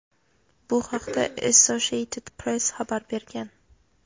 Bu haqda "Associated Press" xabar bergan.